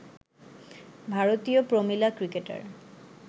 ভারতীয় প্রমিলা ক্রিকেটার